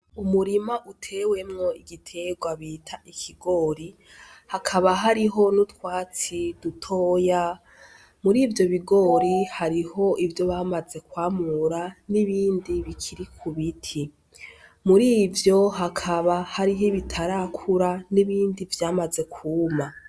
Umurima utewemwo igiterwa bita ikigori, hakaba hariho n'utwatsi dutoya. Muri ivyo bigori hariho ivyo bamaze kwamura n'ibindi bikiri ku biti. Muri ivyo hakaba hariho ibitarakura n'ibindi vyamaze kwuma.